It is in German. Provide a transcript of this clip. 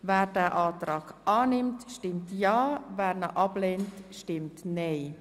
Wer das Kreditgeschäft annimmt, stimmt ja, wer es ablehnt, stimmt nein.